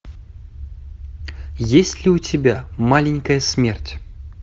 есть ли у тебя маленькая смерть